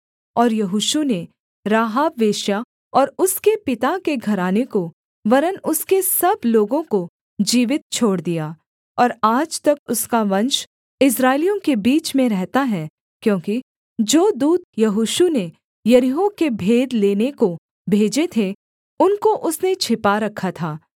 और यहोशू ने राहाब वेश्या और उसके पिता के घराने को वरन् उसके सब लोगों को जीवित छोड़ दिया और आज तक उसका वंश इस्राएलियों के बीच में रहता है क्योंकि जो दूत यहोशू ने यरीहो के भेद लेने को भेजे थे उनको उसने छिपा रखा था